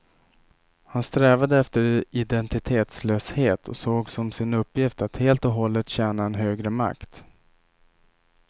Han strävade efter identitetslöshet och såg som sin uppgift att helt och hållet tjäna en högre makt.